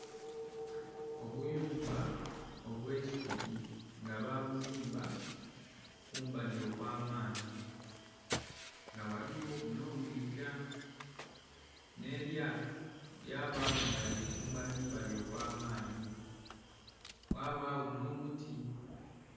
Obuyumba obwe'isubi nga ba buzimba kumbali okwa maadhi nga ghaligho ku nho mwiga nhe lyato lya agho nga lili kumbali mabali okwa'maadhi ghabagho nho muti.